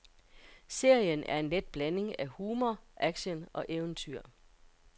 Serien er en let blanding af humor, action og eventyr.